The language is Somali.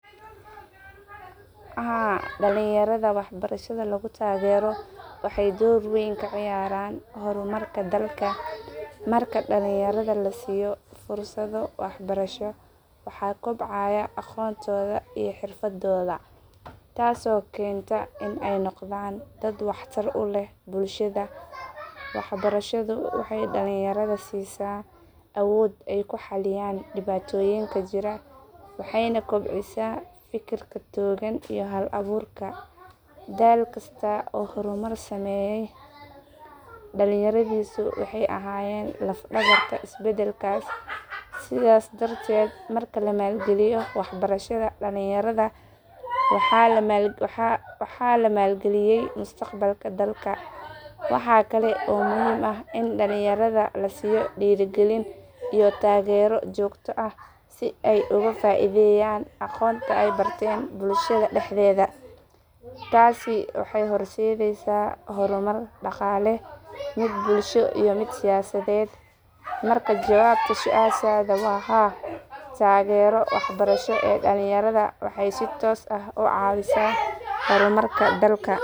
Haa, dhalinyarada waxbarashada lagu taageero waxay door weyn ka ciyaaraan horumarka dalka. Marka dhalinyarada la siiyo fursado waxbarasho, waxaa kobcaya aqoontooda iyo xirfadooda, taasoo keenta in ay noqdaan dad waxtar u leh bulshada. Waxbarashadu waxay dhalinyarada siisaa awood ay ku xalliyaan dhibaatooyinka jira, waxayna kobcisaa fikirka togan iyo hal abuurka. Dal kasta oo horumar sameeyay, dhalinyaradiisu waxay ahaayeen laf dhabarta isbedelkaas. Sidaas darteed, marka la maalgeliyo waxbarashada dhalinyarada, waa la maalgeliyay mustaqbalka dalka. Waxaa kale oo muhiim ah in dhalinyarada la siiyo dhiirrigelin iyo taageero joogto ah si ay ugu faa’iideeyaan aqoonta ay barteen bulshada dhexdeeda. Taasi waxay horseedaysaa horumar dhaqaale, mid bulsho iyo mid siyaasadeed. Markaa jawaabta su’aashaada waa haa, taageerada waxbarasho ee dhalinyarada waxay si toos ah u caawisaa horumarka dalka.